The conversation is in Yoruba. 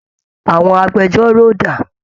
Àwọn agbẹjọ́rò dà?